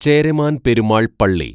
ചേരമാന്‍ പെരുമാള്‍ പള്ളി